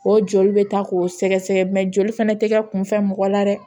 O joli bɛ ta k'o sɛgɛsɛgɛ mɛ joli fana tɛgɛ kunfɛ mɔgɔ la dɛ